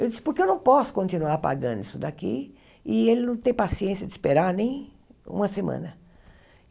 Eu disse, porque eu não posso continuar pagando isso daqui e ele não tem paciência de esperar nem uma semana.